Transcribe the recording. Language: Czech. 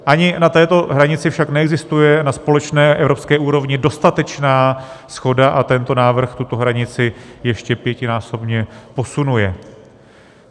Ani na této hranici však neexistuje na společné evropské úrovni dostatečná shoda a tento návrh tuto hranici ještě pětinásobně posunuje.